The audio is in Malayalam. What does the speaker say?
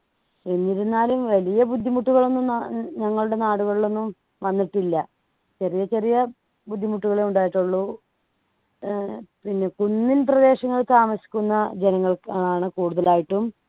എന്നിരുന്നാലും വലിയ ബുദ്ധിമുട്ടുകൾ ഒന്നും ന ഞങ്ങളുടെ നാടുകളിൽ ഒന്നും വന്നിട്ടില്ല ചെറിയ ചെറിയ ബുദ്ധിമുട്ടുകളെ ഉണ്ടായിട്ടുള്ളൂ ഏർ പിന്നെ കുന്നിൻ പ്രദേശങ്ങളിൽ താമസിക്കുന്ന ജനങ്ങൾക്കാണ് കൂടുതലായിട്ടും